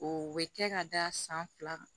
O bɛ kɛ ka da san fila kan